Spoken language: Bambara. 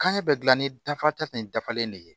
Kanɲɛ bɛ gilan ni dafa de ye dafalen de ye